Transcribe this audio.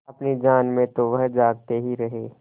अपनी जान में तो वह जागते ही रहे